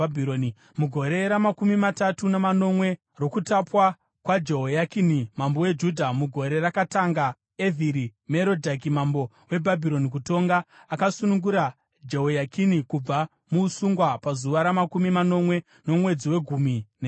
Mugore ramakumi matatu namanomwe rokutapwa kwaJehoyakini mambo weJudha, mugore rakatanga Evhiri-Merodhaki mambo weBhabhironi kutonga, akasunungura Jehoyakini kubva muusungwa pazuva ramakumi manomwe romwedzi wegumi nemiviri.